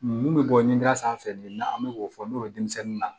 Mun bɛ bɔ ɲinida sanfɛ bi n'an bɛ k'o fɔ n'o ye denmisɛnninw na